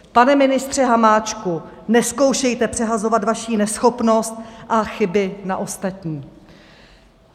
Pane ministře Hamáčku, nezkoušejte přehazovat vaši neschopnost a chyby na ostatní.